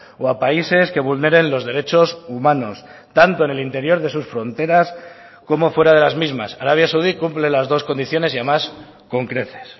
o a países que vulneren los derechos humanos tanto en el interior de sus fronteras como fuera de las mismas arabia saudí cumple las dos condiciones y además con creces